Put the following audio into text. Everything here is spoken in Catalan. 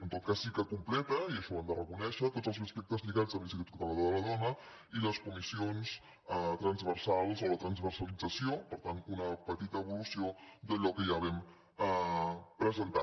en tot cas sí que completa i això ho hem de reco·nèixer tots els aspectes lligats amb l’institut català de la dona i les comissions transversals o la transversalitza·ció per tant una petita evolució d’allò que ja vam pre·sentar